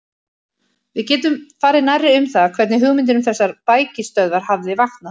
Við getum farið nærri um það, hvernig hugmyndin um þessar bækistöðvar hafði vaknað.